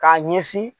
K'a ɲɛsin